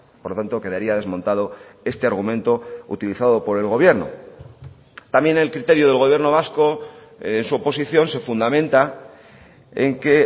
por lo tanto quedaría desmontado este argumento utilizado por el gobierno también el criterio del gobierno vasco en su oposición se fundamenta en que